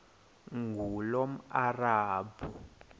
ngulomarabu